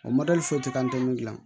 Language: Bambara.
O foyi tɛ ka an tɛ min dilan